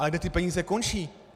Ale kde ty peníze končí?